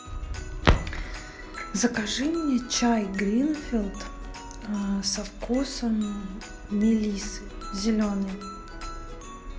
закажи мне чай гринфилд со вкусом мелиссы зеленый